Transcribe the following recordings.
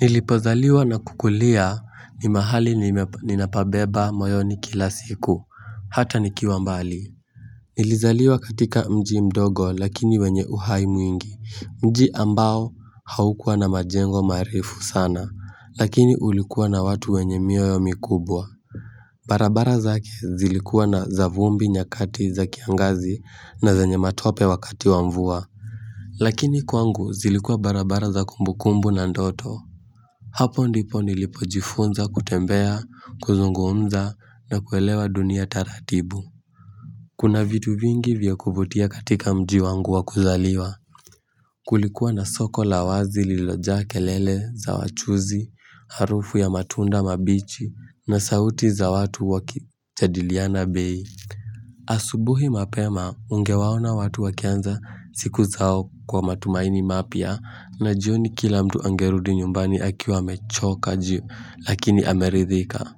Nilipozaliwa na kukulia ni mahali ninapabeba moyoni kila siku hata nikiwa mbali Nilizaliwa katika mji mdogo lakini wenye uhai mwingi mji ambao haukua na majengo marefu sana lakini ulikuwa na watu wenye mioyo mikubwa barabara zake zilikuwa na za vumbi nyakati za kiangazi na zenye matope wakati wamvua Lakini kwangu zilikuwa barabara za kumbukumbu na ndoto Hapo ndipo nilipojifunza kutembea, kuzungumza na kuelewa dunia taratibu. Kuna vitu vingi vya kuvutia katika mji wangu wa kuzaliwa. Kulikuwa na soko la wazi lililoja kelele za wachuuzi, harufu ya matunda mabichi na sauti za watu wakijadiliana bei. Asubuhi mapema ungewaona watu wakianza siku zao kwa matumaini mapya na jioni kila mtu angerudi nyumbani akiwa amechoka ji lakini ameridhika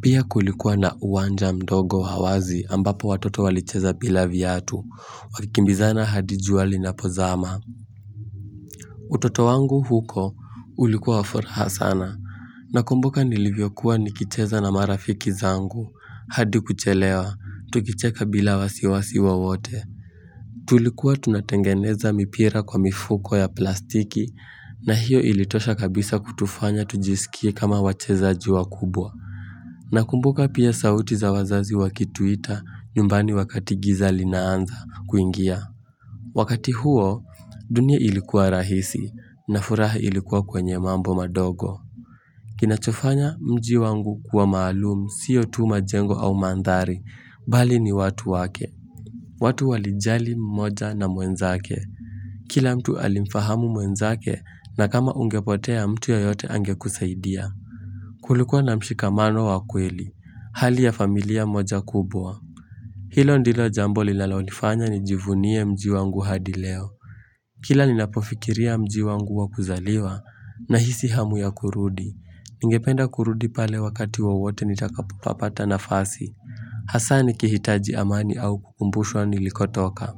Pia kulikuwa na uwanja mdogo wazi ambapo watoto walicheza bila viatu wakikimbizana hadi jua linapozama utoto wangu huko ulikuwa wa furaha sana na kumbuka nilivyokuwa nikicheza na marafiki zangu hadi kuchelewa, tukicheka bila wasiwasi wa wote. Tulikuwa tunatengeneza mipira kwa mifuko ya plastiki na hiyo ilitosha kabisa kutufanya tujisikie kama wachezaji wa kubwa. Na kumbuka pia sauti za wazazi wakituita nyumbani wakati giza linaanza kuingia. Wakati huo, dunia ilikuwa rahisi na furaha ilikuwa kwenye mambo madogo. Kina chofanya mji wangu kuwa maalumu sio tu majengo au mandhari, bali ni watu wake. Watu walijali mmoja na mwenzake. Kila mtu alimfahamu mwenzake na kama ungepotea mtu yeyote angekusaidia. Kulikua na mshikamano wa kweli, hali ya familia moja kubwa. Hilo ndilo jambo linalonifanya ni jivunie mji wangu hadi leo. Kila ninapofikiria mji wangu wakuzaliwa nahisi hamu ya kurudi Ningependa kurudi pale wakati wowote nitakapopapata nafasi Hasa nikihitaji amani au kukumbushwa nilikotoka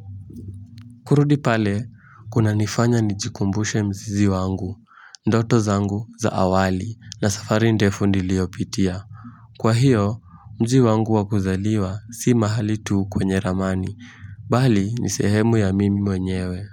kurudi pale kunanifanya nijikumbushe mzizi wangu Ndoto zangu za awali na safari ndefu niliyopitia Kwa hiyo mji wangu wakuzaliwa si mahali tuu kwenye ramani Bali ni sehemu ya mimi mwenyewe.